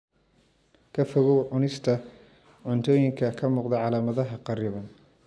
Ka fogow cunista cuntooyinka ka muuqda calaamadaha kharriban.